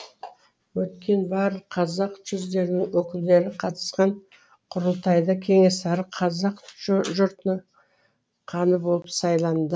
өткен барлық қазақ жүздерінің өкілдері қатысқан құрылтайда кенесары қазақ жұртының ханы болып сайланды